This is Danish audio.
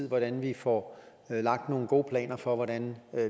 hvordan vi får lagt nogle gode planer for hvordan